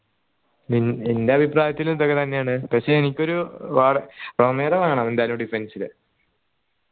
E ഇന്റെ അഭിപ്രായത്തിലും ഇതൊക്കെ തന്നെയാണ് പക്ഷേ എനിക്കൊരു റൊമേറോ വേണം എന്തായാലും defend ന്